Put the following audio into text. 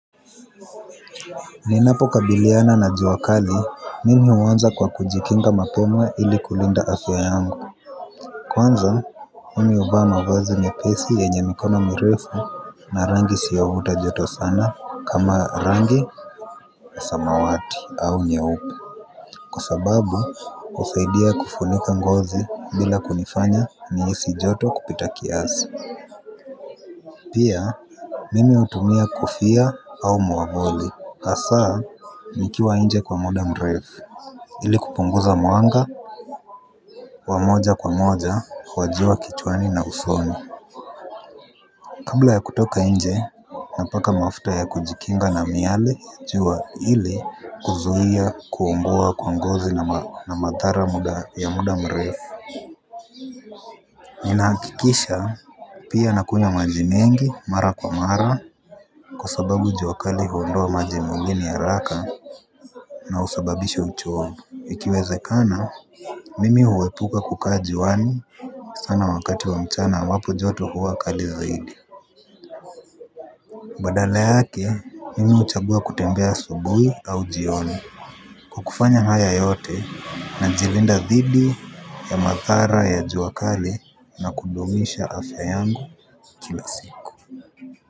Ninapo kabiliana na jua kali, mimi uanza kwa kujikinga mapema ili kulinda afya yangu. Kwanza, mimi uvaa mavazi mepesi yenye mikono mirefu na rangi isiyo vuta joto sana kama rangi ya samawati au nyaupe. Kwa sababu, husaidia kufunika ngozi bila kunifanya nihisi joto kupita kiasi. Pia, mimi hutumia kofia au mwamvuli hasa, nikiwa nje kwa muda mrefu. Ili kupunguza mwanga, wa moja kwa moja, kwa jua kichwani na usoni. Kabla ya kutoka nje, napaka mafuta ya kujikinga na miali jua ili kuzuia kuungua kwa ngozi na madhara ya muda mrefu. Ninahakikisha pia nakunywa maji mengi mara kwa mara. Kwa sababu jua kali huondoa maji mwilini haraka na husababisha uchovu ikiwezekana mimi huepuka kukaa juwani sana wakati wa mchana ambapo joto huwa kali zaidi badala yake mimi uchagua kutembea asubuhi au jioni kwa kufanya haya yote najilinda dhiidi ya madhara ya jua kali na kudumisha afya yangu kila siku.